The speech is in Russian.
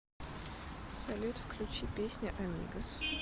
салют включи песня амигос